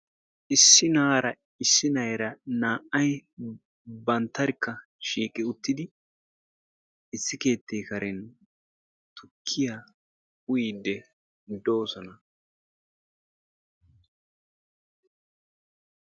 Issi na"aara issi na"eera naa"ayi banttarkka shiiqi uttidi issi keettee karen tukkiya uyiiddi doosona